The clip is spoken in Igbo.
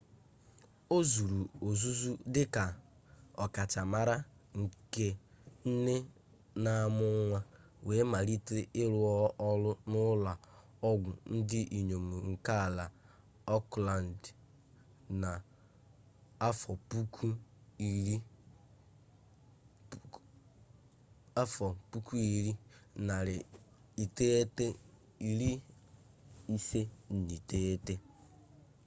ọ zụrụ ọzụzụ dị ka ọkachamara nke nne na-amụ nwa wee malite ịrụ ọrụ na ụlọ ọgwụ ndị inyom nke ala auckland na 1959